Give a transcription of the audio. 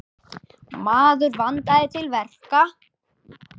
Maður vandaði til verka.